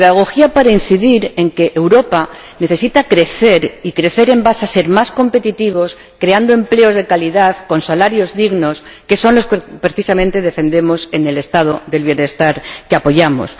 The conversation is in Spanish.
Pedagogía, para incidir en que Europa necesita crecer, y crecer siendo más competitivos, creando empleos de calidad, pagando salarios dignos, que son los que precisamente defendemos en el Estado del bienestar que apoyamos.